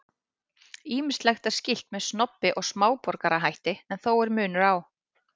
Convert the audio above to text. Ýmislegt er skylt með snobbi og smáborgarahætti en þó er munur á.